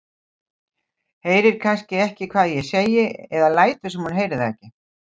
Heyrir kannski ekki hvað ég segi eða lætur sem hún heyri það ekki.